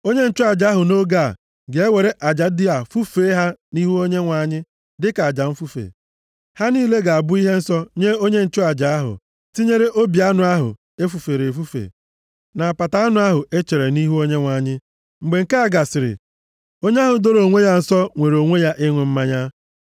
Onye nchụaja ahụ nʼoge a, ga-ewere aja ndị a fufee ha nʼihu Onyenwe anyị dịka aja mfufe. Ha niile ga-abụ ihe nsọ nye onye nchụaja ahụ, tinyere obi anụ ahụ e fufere efufe, na apata anụ ahụ e chere nʼihu Onyenwe anyị. Mgbe nke a gasịrị, onye ahụ doro onwe ya nsọ nwere onwe ya ịṅụ mmanya.